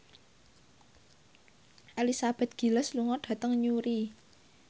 Elizabeth Gillies lunga dhateng Newry